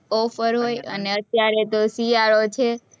offer હોય અને અત્યારે તો શિયાળો છે.